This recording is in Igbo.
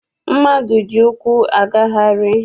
Mmadụ ji ụkwụ agagharị.